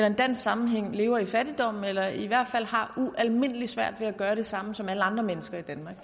en dansk sammenhæng lever i fattigdom eller i hvert fald har ualmindelig svært ved at gøre det samme som alle andre mennesker i danmark